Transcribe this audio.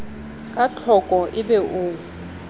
ka tlhoko e be o